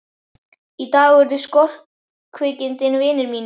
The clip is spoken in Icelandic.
Í dag urðu skorkvikindin vinir mínir.